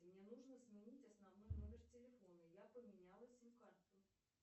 мне нужно сменить основной номер телефона я поменяла сим карту